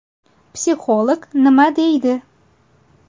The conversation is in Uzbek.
Psixolog nima deydi?